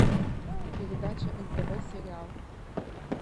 передача нтв сериал